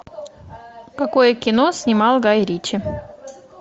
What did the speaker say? какое кино снимал гай ричи